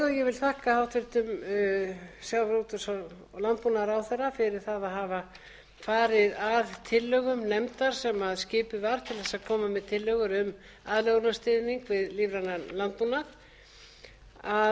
vil þakka hæstvirtum sjávarútvegs og landbúnaðarráðherra fyrir það að hafa farið að tillögum nefndar sem skipuð var til þess að koma með tillögur um aðlögunarstuðning við